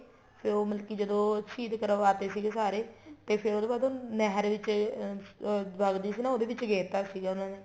ਫ਼ੇਰ ਉਹ ਮਤਲਬ ਕੀ ਜਦੋਂ ਸ਼ਹੀਦ ਕਰਵਾ ਤੇ ਸੀਗੇ ਸਾਰੇ ਤੇ ਉਹਦੇ ਬਾਅਦ ਨਹਿਰ ਵਿੱਚ ਅਹ ਵਗਦੀ ਸੀ ਨਾ ਉਹਦੇ ਵਿੱਚ ਗੇਰ ਤਾਂ ਸੀਗਾ ਉਹਨਾ ਨੂੰ